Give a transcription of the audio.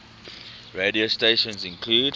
radio stations include